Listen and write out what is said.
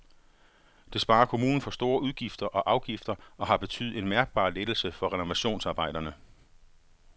Det sparer kommunen for store udgifter og afgifter og har betydet en mærkbar lettelse for renovationsarbejderne.